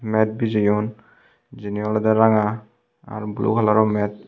met bijeyon jini olodey ranga araw blue kalaror met .